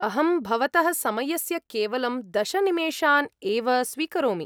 अहं भवतः समयस्य केवलं दश निमेषान् एव स्वीकरोमि।